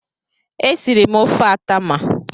Esiri m ofe atama.